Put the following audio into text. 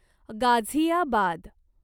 Ghaziabad